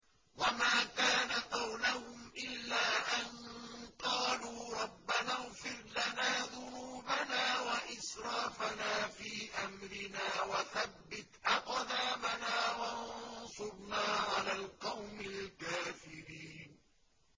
وَمَا كَانَ قَوْلَهُمْ إِلَّا أَن قَالُوا رَبَّنَا اغْفِرْ لَنَا ذُنُوبَنَا وَإِسْرَافَنَا فِي أَمْرِنَا وَثَبِّتْ أَقْدَامَنَا وَانصُرْنَا عَلَى الْقَوْمِ الْكَافِرِينَ